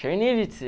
Chernivtsi.